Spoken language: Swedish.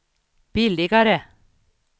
billigare